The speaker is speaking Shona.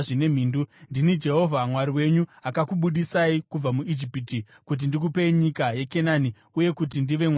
Ndini Jehovha Mwari wenyu akakubudisai kubva muIjipiti kuti ndikupei nyika yeKenani uye kuti ndive Mwari wenyu.